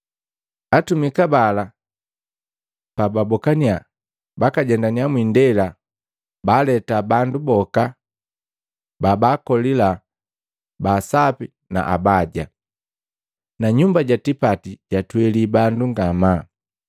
Atumika bala babokaniya, bajendaniya mwindela, baaleta bandu boka babaakolila, ba asapi na abaja. Nanyumba ja tipati jatweli bandu ngamaa.